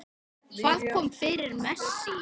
Hvað kom fyrir Messi?